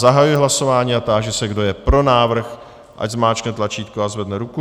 Zahajuji hlasování a táži se, kdo je pro návrh, ať zmáčkne tlačítko a zvedne ruku.